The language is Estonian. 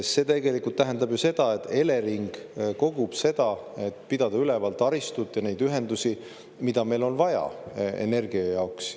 See tegelikult tähendab ju seda, et Elering kogub tasu, et pidada üleval taristut, neid ühendusi, mida meil on vaja energia jaoks.